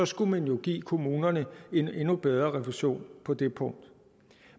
skulle man jo give kommunerne en endnu bedre refusion på det punkt